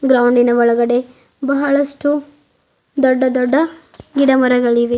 ಗ್ರೌಂಡಿನ ಒಳಗಡೆ ಬಹಳಷ್ಟು ದೊಡ್ಡ ದೊಡ್ಡ ಗಿಡ ಮರಗಳಿವೆ.